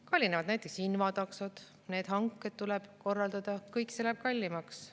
Kallinevad näiteks invataksod – need hanked tuleb korraldada ja kõik see läheb kallimaks.